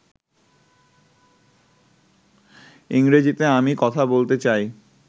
ইংরেজীতে আমি কথা বলতে চাই